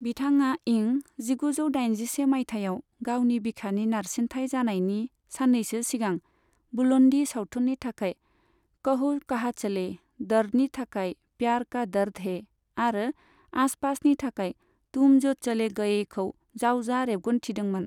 बिथाङा इं जिगुजौ दाइनजिसे माइथायाव गावनि बिखानि नारसिनथाय जानायनि साननैसो सिगां बुलुंडी सावथुननि थाखाय कहो काहा चले', दर्दनि थाखाय प्यार का दर्द है आरो आस पास नि थाखाय तुम जो चले गएखौ जावजा रेबगन्थिदोंमोन।